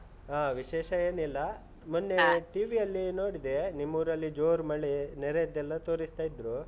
ಹಾ, ವಿಶೇಷ ಏನಿಲ್ಲ. ಮೊನ್ನೆ . TV ಅಲ್ಲಿ ನೋಡಿದೆ, ನಿಮ್ಮೂರಲ್ಲಿ ಜೋರು ಮಳೆ ನೆರೆಯದ್ದೆಲ್ಲ ತೋರಿಸ್ತಾ ಇದ್ರು.